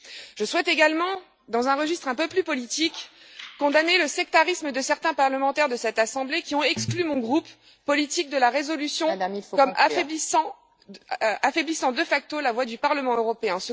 Je souhaite également, dans un registre un peu plus politique, condamner le sectarisme de certains parlementaires de cette assemblée, qui ont exclu mon groupe politique de la résolution, affaiblissant de facto la voix du Parlement européen.